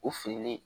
O fililen